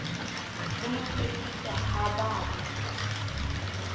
le motsekiswa ha ba ya